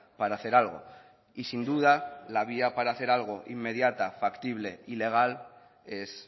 para hacer algo y sin duda la vía para hacer algo inmediata factible y legal es